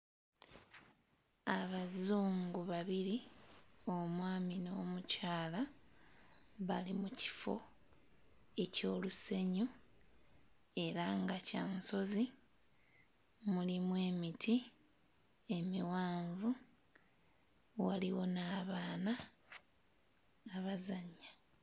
Abazungu babiri omwami n'omukyala bali mu kifo eky'olusenyu era nga kya nsozi mulimu emiti emiwanvu, waliwo n'abaana abazannya.